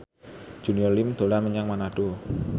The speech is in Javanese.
Junior Liem dolan menyang Manado